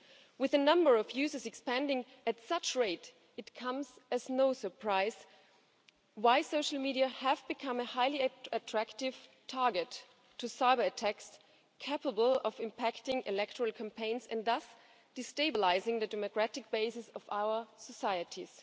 With the number of users expanding at such a rate, it comes as no surprise why social media have become a highly attractive target to cyberattacks, capable of impacting electoral campaigns and thus destabilising the democratic basis of our societies.